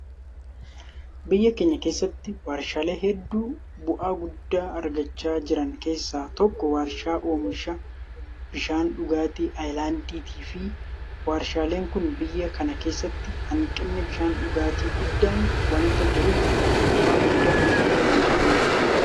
Biyya keenya keessatti warshaalee hedduu bu'aa guddaa argachaa jiran keessaa tokko warshaa oomisha Bishaan dhugaatii Ayilaandiiti. Warshaaleen kun biyya kana keessatti hanqinni bishaan dhugaatii guddaan waanta jiruuf bu'aa guddaa argachuu danda'aniiru.